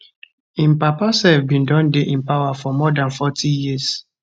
im papa sef bin don dey in power for more dan forty years